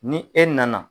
Ni e nana